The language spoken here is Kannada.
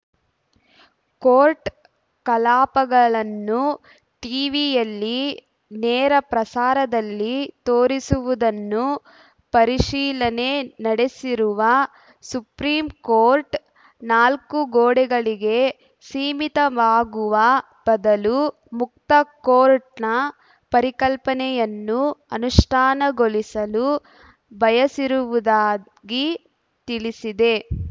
ಕೋರ್ಟ್‌ ಕಲಾಪಗಳನ್ನು ಟೀವಿಯಲ್ಲಿ ನೇರ ಪ್ರಸಾರದಲ್ಲಿ ತೋರಿಸುವುದನ್ನು ಪರೀಶಿಲನೆ ನಡೆಸಿರುವ ಸುಪ್ರೀಂಕೋರ್ಟ್‌ ನಾಲ್ಕುಗೋಡೆಗಳಿಗೆ ಸೀಮಿತವಾಗುವ ಬದಲು ಮುಕ್ತ ಕೋರ್ಟ್‌ನ ಪರಿಕಲ್ಪನೆಯನ್ನು ಅನುಷ್ಠಾನಗೊಳಿಸಲು ಬಯಸಿರುವುದಾಗಿ ತಿಳಿಸಿದೆ